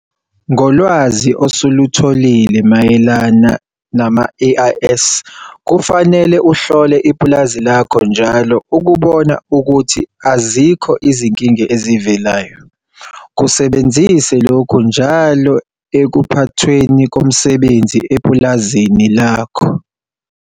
Ngolwazi osulutholile mayelana nama-AIS kufanele uhlole ipulazi lakho njalo ukubona ukuthi azikho izinkinga ezivelayo. Kusebenzise lokhu njalo ekuphathweni komsebenzi epulazini lakho.